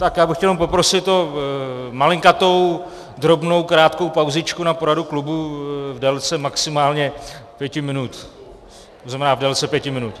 Tak já bych chtěl jenom poprosit o malinkatou, drobnou, krátkou pauzičku na poradu klubu v délce maximálně pěti minut, to znamená v délce pěti minut.